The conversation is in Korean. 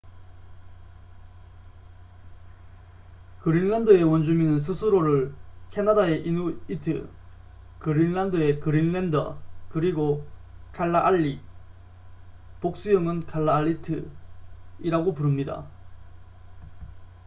그린란드의 원주민은 스스로를 캐나다의 이누이트 그린란드의 그린랜더 그리고 칼라알릭복수형은 칼라알리트이라고 부릅니다